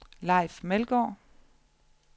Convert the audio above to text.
Leif Meldgaard